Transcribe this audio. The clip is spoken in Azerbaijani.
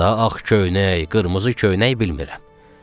Daha ağ köynək, qırmızı köynək bilmirəm.